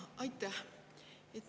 Aitäh!